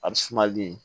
A bɛ sumali